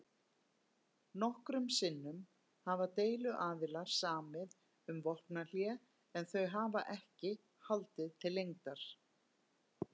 Nokkrum sinnum hafa deiluaðilar samið um vopnahlé en þau hafa ekki haldið til lengdar.